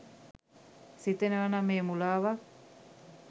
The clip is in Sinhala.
සිතනවානම් එය මුලාවක්